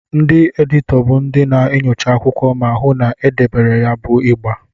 Ndị editọ bụ ndị na-enyocha akwụkwọ ma hụụ na ederede ya bụ ịgba.